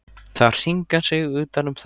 Það hringar sig utan um þögnina.